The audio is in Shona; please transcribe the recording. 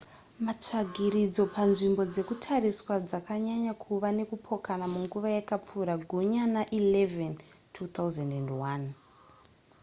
matsvagiridzo panzvimbo dzekutariswa dzanyanya kuva nekupokana munguva yakapfuura gunyana 11 2001